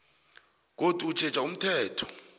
godu utjheja umthetho